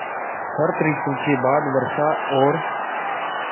शरत ॠतु के बाद वर्षा और